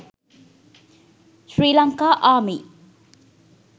sri lanka army